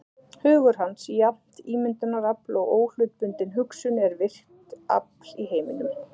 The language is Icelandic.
Hugur hans, jafnt ímyndunarafl og óhlutbundin hugsun, er virkt afl í heiminum.